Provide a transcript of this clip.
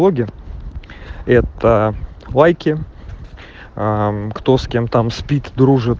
это лайки кто с кем там спит